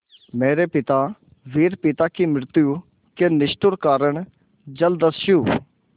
मेरे पिता वीर पिता की मृत्यु के निष्ठुर कारण जलदस्यु